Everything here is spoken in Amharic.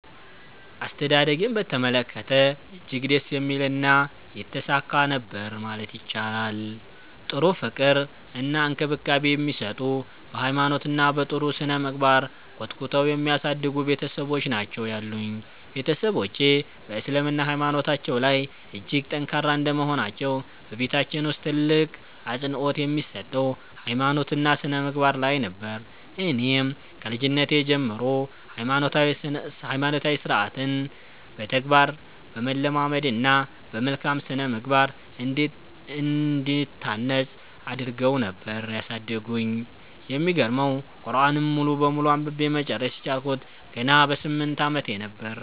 አስተዳደጌን በተመለከተ እጅግ ደስ የሚልና የተሳካ ነበር ማለት ይቻላል። ጥሩ ፍቅር እና እንክብካቤ የሚሰጡ፤ በ ሃይማኖት እና በ ጥሩ ስነምግባር ኮትኩተው የሚያሳድጉ ቤትሰቦች ናቸው ያሉኝ። ቤትሰቦቼ በ እስልምና ሃይማኖታቸው ላይ እጅግ ጠንካራ እንደመሆናቸው በቤታችን ውስጥ ትልቅ አፅንኦት የሚሰጠው ሃይማኖት እና ስነምግባር ላይ ነበር። እኔንም ከልጅነቴ ጀምሮ ሃይማኖታዊ ስርዓትን በተግባር በማለማመድ እና በመልካም ስነምግባር እንድታነፅ አድረገው ነበር ያሳደጉኝ። የሚገርመው ቁርዐንን ሙሉ በሙሉ አንብቤ መጨረስ የቻልኩት ገና በ 8 አመቴ ነበር።